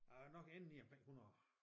Jeg ville nok ende lige omkring 100